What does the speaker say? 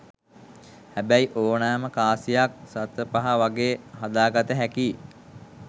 හැබැයි ඕනෑම කාසියක් සතපහ වගේ හදාගත්තැකි